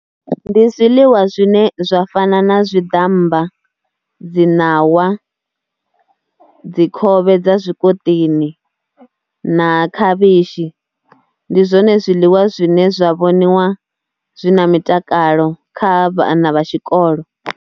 Ndi zwiḽiwa zwine zwa fana na zwiḓamba, dzi ṋawa, dzi khovhe dza zwikoṱini na khavhishi. Ndi zwone zwiḽiwa zwine zwa vhoniwa zwi na mitakalo kha vhana vha tshikolo.